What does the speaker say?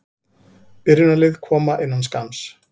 Byrjunarlið koma innan skamms.